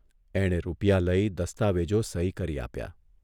એણે રૂપિયા લઇ દસ્તાવેજો સહી કરી આપ્યા.